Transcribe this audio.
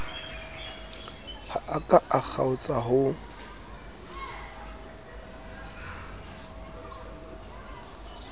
ha a ka kgaotsa ho